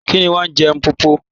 Kíni wọn n je M̀popo?